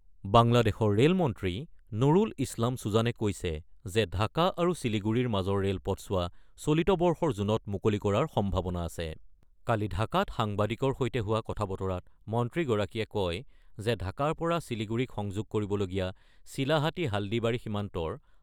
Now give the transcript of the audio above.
বাংলাদেশৰ ৰে'লমন্ত্ৰী নুৰুল ইছলাম চুজানে কৈছে যে ঢাকা আৰু শিলিগুৰীৰ মাজৰ ৰে'লপথছোৱা চলিত বৰ্ষৰ জুনত মুকলি কৰাৰ সম্ভাৱনা আছে। কালি ঢাকাত সাংবাদিকৰ সৈতে হোৱা কথা-বতৰাত মন্ত্ৰীগৰাকীয়ে কয় যে ঢাকাৰ পৰা শিলিগুৰীক সংযোগ কৰিবলগীয়া ছিলাহাটী-হাল্ডিবাৰী সীমান্তৰ